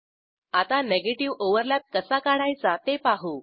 आता negative overlap कसा काढायचा ते पाहू